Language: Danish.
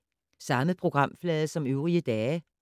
Samme programflade som øvrige dage